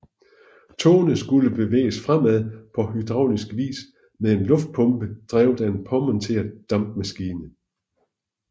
Togene skulle bevæges fremad på hydraulisk vis med en luftpumpe drevet af en påmonteret dampmaskine